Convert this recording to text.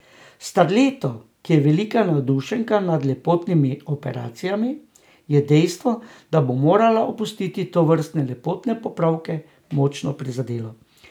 Starleto, ki je velika navdušenka nad lepotnimi operacijami, je dejstvo, da bo morala opustiti tovrstne lepotne popravke, močno prizadelo.